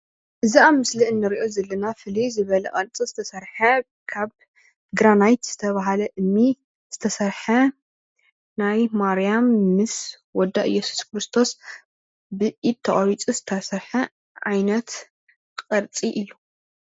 እዚ ኣብ ምስሊ ንሪኦ ዘለና ፍልይ ዝበለ ቅርፂ ዝተሰርሐ ካብ ግራናይት ዝተብሃለ እምኒ ዝተሰርሐ ናይ ማርያም ምስ ወዳ እየሱስክርስቶስ ብኢድ ተቆሪፁ ዝተሰርሐ ዓይነት ቅርፂ እዩ።